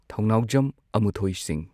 ꯊꯧꯅꯥꯎꯖꯝ ꯑꯃꯨꯊꯣꯏ ꯁꯤꯡ